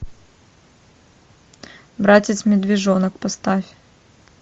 братец медвежонок поставь